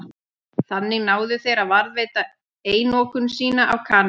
Þannig náðu þeir að varðveita einokun sína á kanil.